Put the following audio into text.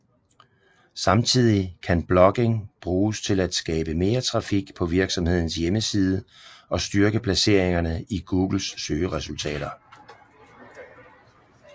Samtidig kan blogging bruges til at skabe mere trafik på virksomhedens hjemmeside og styrke placeringerne i Googles søgeresultater